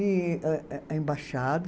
E a a a embaixada.